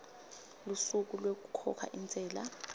lusuku lwekukhokha intsela